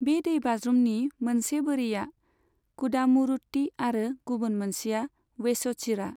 बे दैबाज्रुमनि मोनसे बोरिया कुदामुरुट्टी आरो गुबुन मोनसेया वेच'चिरा।